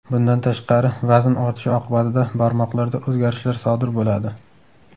Bundan tashqari vazn ortishi oqibatida barmoqlarda o‘zgarishlar sodir bo‘ladi.